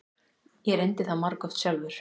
Ég reyndi það margoft sjálfur.